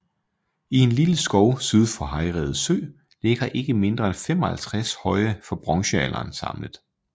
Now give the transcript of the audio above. I en lille skov syd for Hejrede Sø ligger ikke mindre end 55 høje fra bronzealderen samlet